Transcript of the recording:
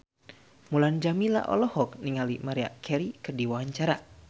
Mulan Jameela olohok ningali Maria Carey keur diwawancara